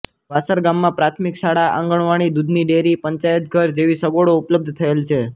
વાસર ગામમાં પ્રાથમિક શાળા આંગણવાડી દૂધની ડેરી પંચાયતઘર જેવી સગવડો ઉપલબ્ધ થયેલ છે